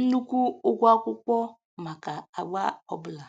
nnukwu ụgwọ akwụkwọ maka agba ọbụla